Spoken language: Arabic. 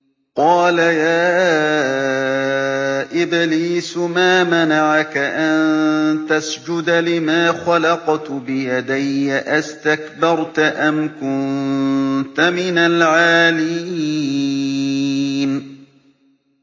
قَالَ يَا إِبْلِيسُ مَا مَنَعَكَ أَن تَسْجُدَ لِمَا خَلَقْتُ بِيَدَيَّ ۖ أَسْتَكْبَرْتَ أَمْ كُنتَ مِنَ الْعَالِينَ